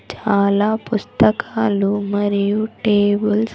చాలా పుస్తకాలు మరియు టేబుల్స్.